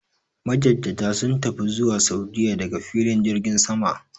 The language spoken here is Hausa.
Majajjata sun tafi zuwa Sa'udiyya daga filin jirgin sama.